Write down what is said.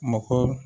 Mɔgɔ